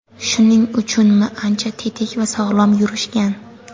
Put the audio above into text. Shuning uchunmi ancha tetik va sog‘lom yurishgan.